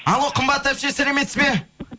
алло қымбат әпше сәлеметсіз бе